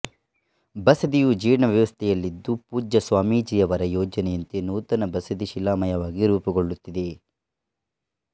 ಬಸದಿಯು ಜೀರ್ಣಾವಸ್ಥೆಯಲ್ಲಿದ್ದು ಪೂಜ್ಯ ಸ್ವಾಮೀಜಿಯವರ ಯೋಜನೆಯಂತೆ ನೂತನ ಬಸದಿ ಶಿಲಾಮಯವಾಗಿ ರೂಪುಗೊಳ್ಳುತ್ತಿದೆ